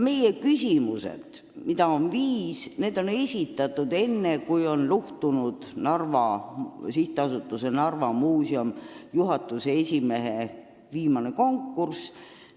Meie küsimused, mida on viis, on esitatud enne, kui luhtus SA Narva Muuseum juhatuse esimehe valimise viimane konkurss.